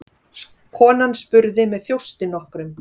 Konan spurði með þjósti nokkrum